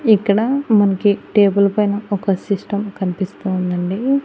ఇక్కడ మనకి టేబుల్ పైన ఒక సిస్టం కనిపిస్తూ ఉందండి.